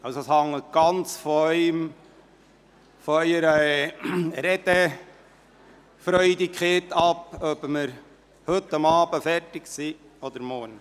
Es hängt also ganz von Ihrer Redefreudigkeit ab, ob wir heute Abend oder morgen fertig sein werden.